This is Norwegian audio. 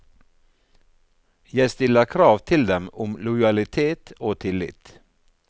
Jeg stiller krav til dem om lojalitet og tillit.